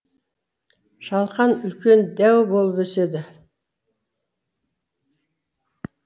шалқан үлкен дәу болып өседі